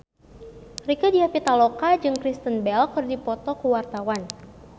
Rieke Diah Pitaloka jeung Kristen Bell keur dipoto ku wartawan